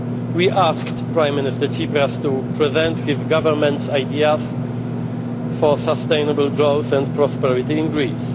us. We asked Prime Minister Tsipras to present his government's ideas for sustainable growth and prosperity in Greece.